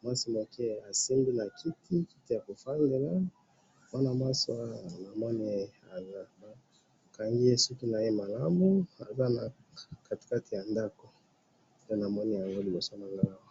mwasi moke a' simbi na kiti, kiti yako fanda, mwana mwasi na moni ba kangiye suki malamu aza na katikati ya ndako nde na moni liboso na ngayi awa